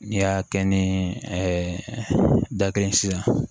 N'i y'a kɛ ni da kelen ye sisan